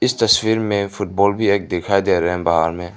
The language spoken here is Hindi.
इस तस्वीर में फुटबॉल भी एक दिखाई दे रहे है बाहर में।